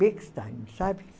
Bechstein, sabe?